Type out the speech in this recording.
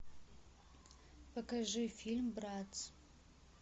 покажи фильм братц